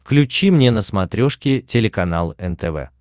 включи мне на смотрешке телеканал нтв